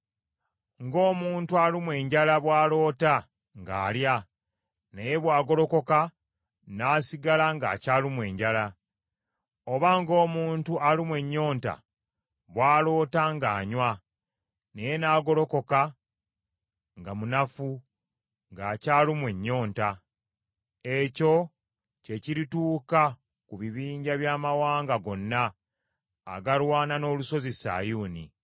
ng’omuntu alumwa enjala bw’aloota ng’alya naye bw’agolokoka n’asigala ng’akyalumwa enjala; oba ng’omuntu alumwa ennyonta bw’aloota ng’anywa naye n’agolokoka nga munafu ng’akyalumwa ennyonta. Ekyo kye kirituuka ku bibinja by’amawanga gonna agalwana n’Olusozi Sayuuni.